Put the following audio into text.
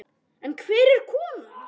En hver er konan?